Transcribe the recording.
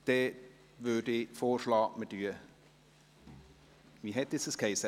Daher schlage ich vor, dass wir – wie hiess das schon wieder?